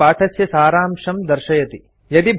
एतत् पाठस्य सारांशं दर्शयति